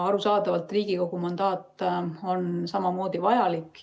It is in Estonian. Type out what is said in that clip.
Arusaadavalt on Riigikogu mandaat samamoodi vajalik.